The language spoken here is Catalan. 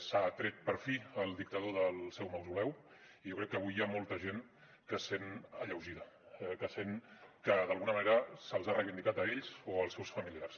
s’ha tret per fi el dictador del seu mausoleu i jo crec que avui hi ha molta gent que es sent alleugerida que sent que d’alguna manera se’ls ha reivindicat a ells o als seus familiars